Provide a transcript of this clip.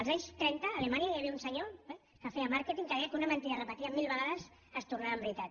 els anys tren·ta a alemanya hi havia un senyor que feia màrqueting que deia que una mentida repetida mil vegades es tor·nava veritat